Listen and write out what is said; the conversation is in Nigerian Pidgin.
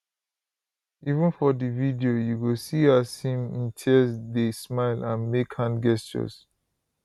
even for di video you go see as him imtiaz dey smile and make hand gestures